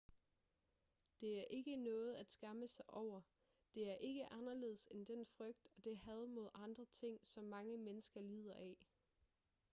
det er ikke noget at skamme sig over det er ikke anderledes end den frygt og det had mod andre ting som mange mennesker lider af